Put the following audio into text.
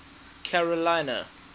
carolina